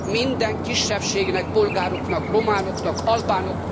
Minden kisebbségnek bolgároknak, románoknak, albánoknak...